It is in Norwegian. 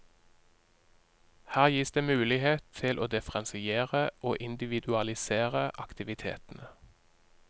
Her gis det mulighet til å differensiere og individualisere aktivitetene.